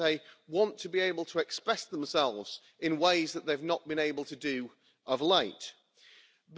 that they want to be able to express themselves in ways that they've not been able to do of late.